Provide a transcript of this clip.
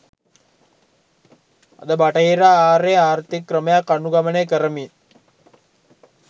අද බටහිර ආරේ ආර්ථික ක්‍රමයක් අනුගමනය කරමින්